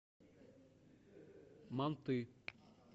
манты